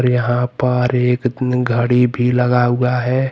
यहां पर एक घड़ी भी लगा हुआ है।